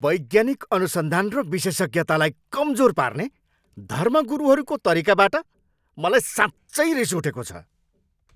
वैज्ञानिक अनुसन्धान र विशेषज्ञतालाई कमजोर पार्ने धर्मगुरुहरूको तरिकाबाट मलाई साँच्चै रिस उठेको छ।